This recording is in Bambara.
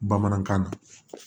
Bamanankan na